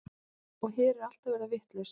Og hér er allt að verða vitlaust.